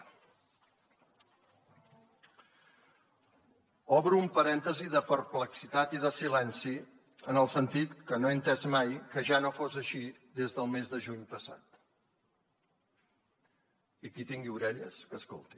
obro un parèntesi de perplexitat i de silenci en el sentit que no he entès mai que ja no fos així des del mes de juny passat i qui tingui orelles que escolti